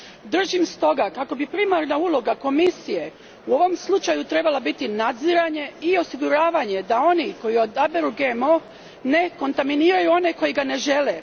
Držim stoga, kako bi primarna uloga Komisije u ovom slučaju trebala biti nadziranje i osiguravanje da oni koji odaberu GMO ne kontaminiraju one koji ga ne žele.